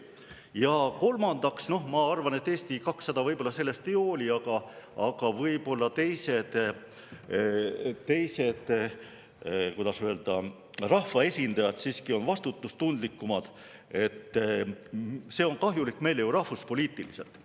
Ja kolmandaks, ma arvan, et Eesti 200 võib-olla sellest ei hooli, aga võib-olla teised, kuidas öelda, rahvaesindajad siiski on vastutustundlikumad: see on kahjulik meile ju rahvuspoliitiliselt.